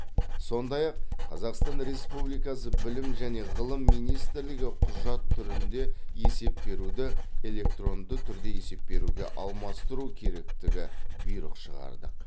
сондай ақ қазақстан республикасы білім және ғылым министрлігі құжат түрінді есеп беруді электронды түрде есеп беруге алмастыру керектігі бұйрық шығардық